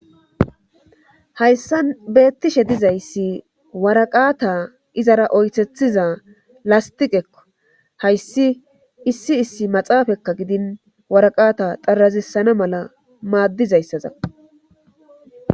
Hayssa beettishe dizayssi waraqaata izara oythethiza lastiqekko hayssi issi issi maxaafakka gidin waraqata xarazissana mala maaddizayssaza